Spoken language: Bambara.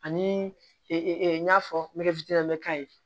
Ani n y'a fɔ ne ka ye